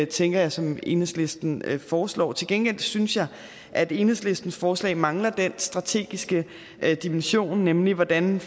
tænker jeg som enhedslisten foreslår til gengæld synes jeg at enhedslistens forslag mangler den strategiske dimension nemlig hvordan